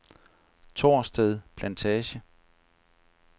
Torsted Plantage